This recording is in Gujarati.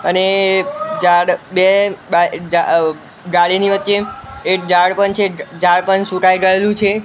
અને જાડ બે બાય અ જા અ ગાડીની વચ્ચે એક ઝાડ પણ છે ઝાડ પણ સુકાઈ ગયેલું છે.